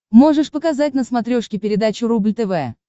можешь показать на смотрешке передачу рубль тв